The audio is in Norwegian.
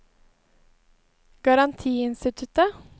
garantiinstituttet